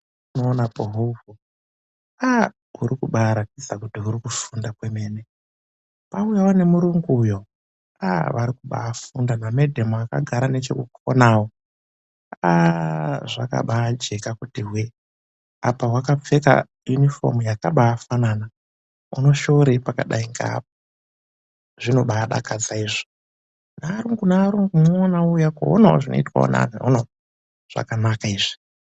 Aaah huri kubaa ratidza kuti huri kufunda kwemene kwaauyavo nemurungu uyo, aah vari kubaafunda, namadam vakagara nechekukonayo, aaah zvakabaa jeka kuti hweee apa hwakapfeka yunifomu yakabaafanana, unoshoorei pakabaidai ngeapo zvinobaidakadza izvo , naarungu naarungu unuona vouya koonavo zvinoitwa ngevantu veuno, zvakanaka izvi.